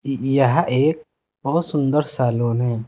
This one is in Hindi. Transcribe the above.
यह एक बहुत सुंदर सैलून है।